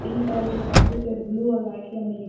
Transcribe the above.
pink colour के पट्टी पे ब्लू और वाइट कलर में लि--